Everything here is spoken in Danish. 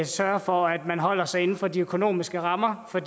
sørger for at man holder sig inden for de økonomiske rammer for